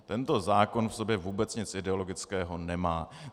Tento zákon v sobě vůbec nic ideologického nemá.